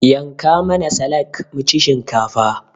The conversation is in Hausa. yanka mana salak muci shinkafa